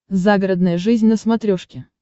загородная жизнь на смотрешке